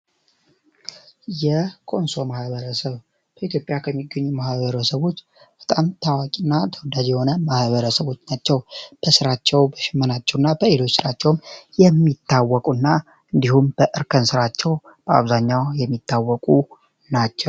የኮንሶ ማህበረሰብ በኢትዮጵያ ውስጥ ከሚገኙ ማህበረሰቦች በጣም ታዋቂ እና ታዋቂ የሆነ ማህበረሰቦች ናቸው በስራቸው በሌሎች ስራቸውን የሚታወቁ በእርከን ስራቸው በአብዛኛው የሚታወቁ ናቸው።